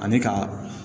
Ani ka